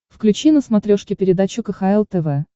включи на смотрешке передачу кхл тв